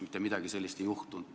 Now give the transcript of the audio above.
Mitte midagi sellist ei juhtunud.